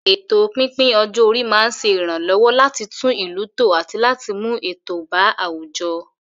Ètò pípín ọjọ́ orí máa ń ṣe ìrànlọ́wọ́ láti tún ìlú tò àti láti mú ètò bá àwùjọ.